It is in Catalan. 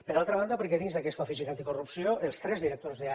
per altra banda perquè dins d’aquesta oficina anticorrupció els tres directors d’àrea